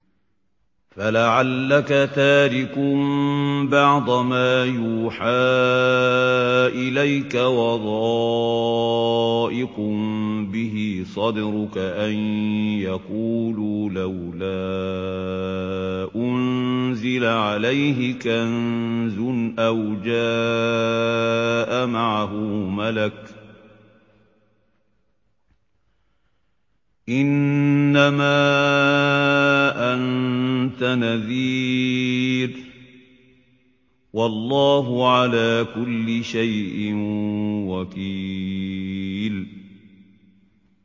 فَلَعَلَّكَ تَارِكٌ بَعْضَ مَا يُوحَىٰ إِلَيْكَ وَضَائِقٌ بِهِ صَدْرُكَ أَن يَقُولُوا لَوْلَا أُنزِلَ عَلَيْهِ كَنزٌ أَوْ جَاءَ مَعَهُ مَلَكٌ ۚ إِنَّمَا أَنتَ نَذِيرٌ ۚ وَاللَّهُ عَلَىٰ كُلِّ شَيْءٍ وَكِيلٌ